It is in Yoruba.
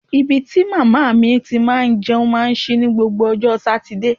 Ibi tí màmá mi ti máa ń jẹun máa ń ṣí ní gbogbo ọjọ́ Sátidé